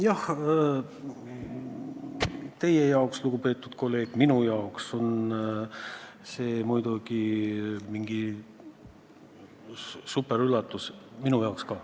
Jah, teie jaoks, lugupeetud kolleeg, ja ka minu jaoks on see muidugi superüllatus.